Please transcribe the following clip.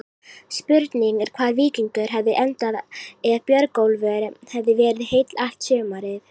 Spurning er hvar Víkingur hefði endað ef Björgólfur hefði verið heill allt sumarið?